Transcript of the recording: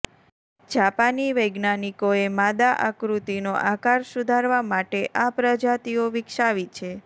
જાપાની વૈજ્ઞાનિકોએ માદા આકૃતિનો આકાર સુધારવા માટે આ પ્રજાતિઓ વિકસાવી છે